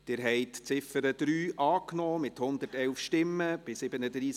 Sie haben die Ziffer 3 angenommen, mit 111 Ja- zu 37 Nein-Stimmen bei 1 Enthaltung.